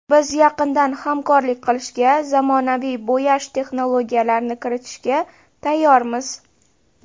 Biz yaqindan hamkorlik qilishga, zamonaviy bo‘yash texnologiyalarini kiritishga tayyormiz”.